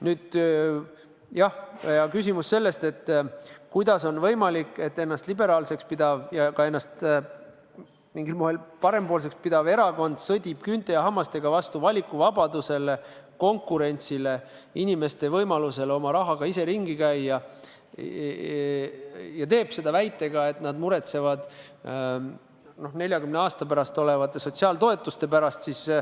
Nüüd, jah, küsimus sellest, kuidas on võimalik, et ennast liberaalseks pidav ja ennast mingil moel ka parempoolseks pidav erakond sõdib küünte ja hammastega vastu valikuvabadusele, konkurentsile, inimeste võimalusele oma rahaga ise ringi käia ja teeb seda väitega, et nad muretsevad 40 aasta pärast makstavate sotsiaaltoetuste pärast.